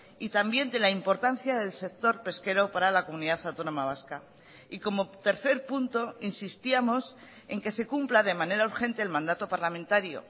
y también de la importancia del sector pesquero para la comunidad autónoma vasca y como tercer punto insistíamos en que se cumpla de manera urgente el mandato parlamentario